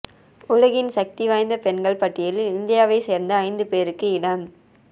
உலகின் சக்திவாய்ந்த பெண்கள் பட்டியலில் இந்தியாவை சேர்ந்த ஐந்து பேருக்கு இடம்